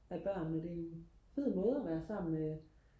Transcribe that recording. af børnene det er en fed måde og være sammen med